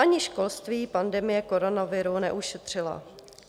Ani školství pandemie koronaviru neušetřila.